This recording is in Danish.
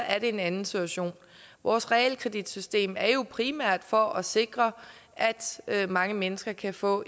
er det en anden situation vores realkreditsystem er jo primært for at sikre at mange mennesker kan få